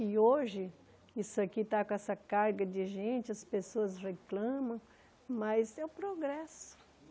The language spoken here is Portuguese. E hoje, isso aqui está com essa carga de gente, as pessoas reclamam, mas é o progresso.